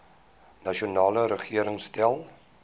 nasionale regering stel